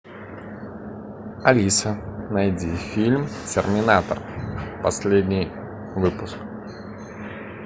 алиса найди фильм терминатор последний выпуск